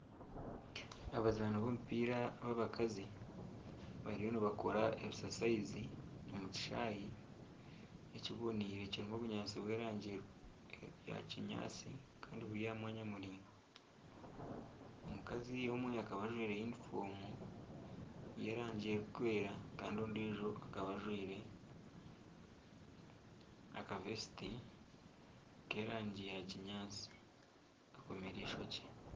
Abazaani b'omupiira abakazi bariyo nibakora ebisasayizi omu kishaayi ekiboneire kirimu obunyaatsi bw'erangi ya kinyaatsi, kandi buri aha mwanya muraingwa. Omukazi omwe akaba ajwaire yunifoomu y'erangi erikwera kandi ondiijo akaba ajwaire akavesiti k'erangi ya kinyatasi akomire eishokye.